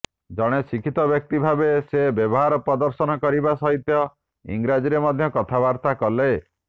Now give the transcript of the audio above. ଜଣେ ଶିକ୍ଷିତ ବ୍ୟକ୍ତି ଭାବେ ସେ ବ୍ୟବହାର ପ୍ରଦର୍ଶନ କରିବା ସହିତ ଇଂରାଜୀରେ ମଧ୍ୟ କଥାବାର୍ତ୍ତା କଲେ